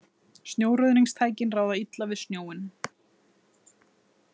Snjóruðningstækin ráða illa við snjóinn